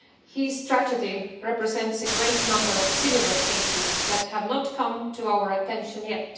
His tragedy represents a great number of similar cases that have not come to our attention yet.